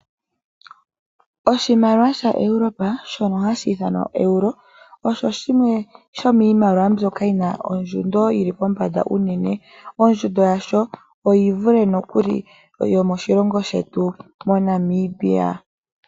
Oshimaliwa shaEuropa shono hashi ithanwa Euro osho shimwe shomiimaliwa mbyoka yina ondjundo yili pombanda unene. Ondjundo yasho oyivule nokuli yomoshilongo shetu moNamibia.